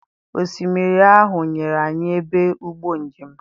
Osimiri ahụ nyere anyị ebe ụgbọ njem.